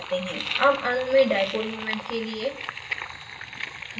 अब अणु में dipole moment के लिए